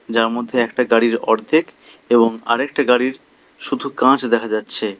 যার মধ্যে একটা গাড়ির অর্ধেক এবং আরেকটি গাড়ির শুধু কাচ দেখা যাচ্ছে।